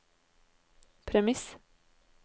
premiss